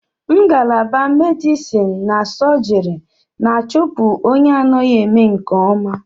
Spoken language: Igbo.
Ngalaba medison na sọjiri na-achupu onye anaghị eme nke ọma.